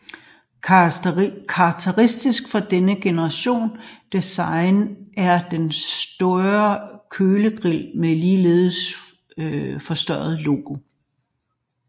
Karakteristisk for anden generations design er den større kølergrill med ligeledes forstørret logo